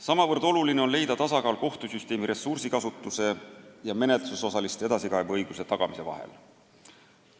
Sama oluline on leida tasakaal kohtusüsteemi aruka ressursikasutuse ja menetlusosaliste edasikaebeõiguse tagamise vahel.